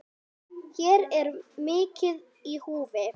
Hér er mikið í húfi.